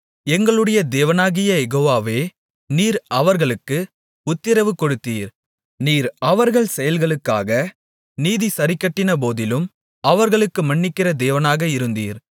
எங்களுடைய தேவனாகிய யெகோவாவே நீர் அவர்களுக்கு உத்திரவு கொடுத்தீர் நீர் அவர்கள் செயல்களுக்காக நீதி சரிக்கட்டினபோதிலும் அவர்களுக்கு மன்னிக்கிற தேவனாக இருந்தீர்